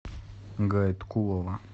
гаиткулова